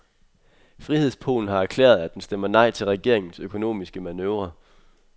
Frihedspolen har erklæret, at den stemmer nej til regeringens økonomiske manøvre.